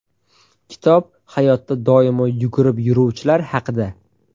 Kitob – hayotda doimo yugurib yuruvchilar haqida.